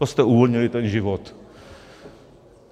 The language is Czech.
To jste uvolnili ten život!